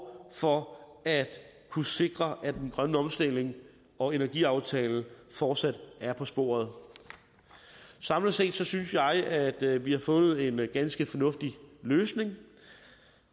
for at kunne sikre at den grønne omstilling og energiaftale fortsat er på sporet samlet set synes jeg at vi har fundet en ganske fornuftig løsning